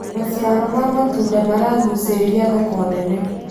Macĩaro ma matũnda maragũcĩrĩrĩa thoko nene